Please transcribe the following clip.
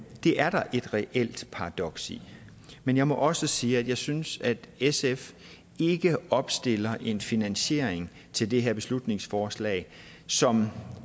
er der et reelt paradoks i men jeg må også sige at jeg ikke synes at sf opstiller en finansiering til det her beslutningsforslag som